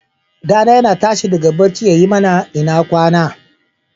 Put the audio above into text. Ɗa na yana tashi daga bacci yayi mana " ina kwana".